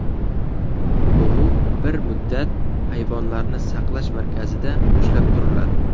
Bug‘u bir muddat hayvonlarni saqlash markazida ushlab turiladi.